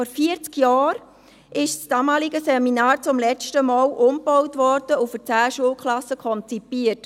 Vor 40 Jahren wurde das damalige Seminar zum letzten Mal umgebaut und für 10 Schulklassen konzipiert.